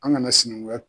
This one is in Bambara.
An kana sinankuya